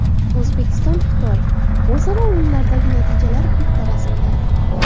O‘zbekiston Xitoy: o‘zaro o‘yinlardagi natijalar bitta rasmda.